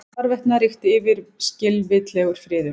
Hvarvetna ríkti yfirskilvitlegur friður.